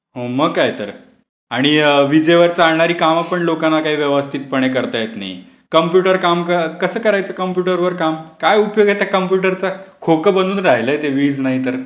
मग काय तर. आणि विजेवर चालणारी कामे पण लोकांना काही व्यवस्थितपणे करता येत नाही. कम्प्युटर काम कसं करायचं कम्प्युटरवर काम? काय उपयोग आहे त्या कम्प्युटरचा? खोकं बनून राहिलंय ते वीज नाही तर.